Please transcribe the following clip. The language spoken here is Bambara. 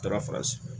Taara fasi